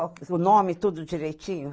O nome tudo direitinho?